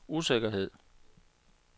usikkerhed